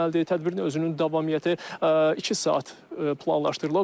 Tədbirin özünün davamiyyəti iki saat planlaşdırılıb.